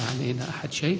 í